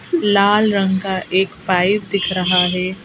लाल रंग का एक पाइप दिख रहा है।